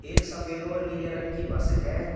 एक सफेद और नीले रंग की बस है।